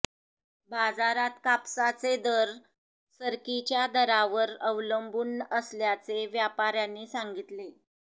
बाजारात कापसाचे दर सरकीच्या दरावर अवलंबून असल्याचे व्यापाऱ्यांनी सांगितले